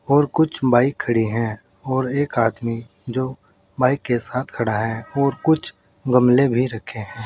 और कुछ बाइक खड़ी हैं और एक आदमी जो बाइक के साथ खड़ा है और कुछ गमले भी रखे हैं।